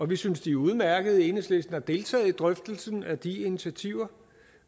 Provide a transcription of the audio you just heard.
vi synes de er udmærkede enhedslisten har deltaget i drøftelsen af de initiativer